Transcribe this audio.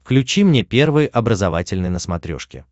включи мне первый образовательный на смотрешке